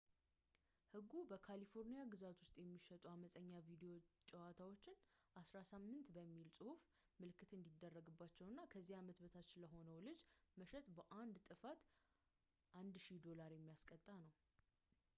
ህጉ በካሊፎርኒያ ግዛት ውስጥ የሚሸጡ አመፀኛ ቪዲዮ ጨዋታዎች 18 በሚል ፅሑፍ ምልክት እንዲደረግባቸው እና ከዚያ ዓመት በታች ለሆነ ልጅ መሸጥ በአንድ ጥፋት $1000 የሚያስቀጣ ነው